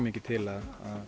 mikið til að